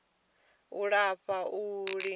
u lafha ha u lingedza